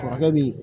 Kɔrɔkɛ bi